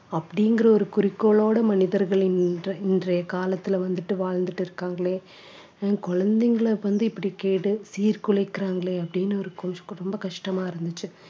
அப்படிங்கிற ஒரு குறிக்கோளோட மனிதர்களின் இன்றை~ இன்றைய காலத்துல வந்துட்டு வாழ்ந்துட்டு இருக்காங்களே அஹ் குழந்தைங்களை வந்து இப்படி கேடு சீர்குலைக்கிறாங்களே அப்படின்னு ஒரு ரொம்ப கஷ்டமா இருந்துச்சு